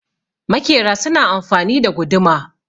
makera suna amfani da guduma